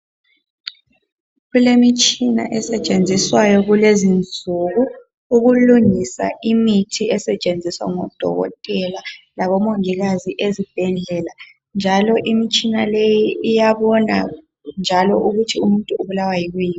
Kulemitshina esetshenziswayo kulezi insuku. Ukulungisa imithi esetshenziswa ngodokotela labomongikazi ezibhedlela, njalo imithi leyi iyabona njalo ukuthi umuntu ubulawa yikuyini.